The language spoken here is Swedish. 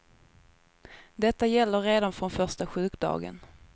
Detta gäller redan från första sjukdagen.